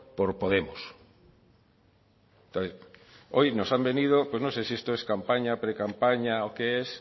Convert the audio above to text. por podemos hoy nos han venido no sé si esto es campaña precampaña o qué es